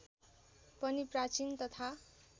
पनि प्राचीन तथा